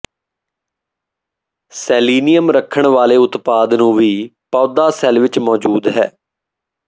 selenium ਰੱਖਣ ਵਾਲੇ ਉਤਪਾਦ ਨੂੰ ਵੀ ਪੌਦਾ ਸੈੱਲ ਵਿੱਚ ਮੌਜੂਦ ਹੈ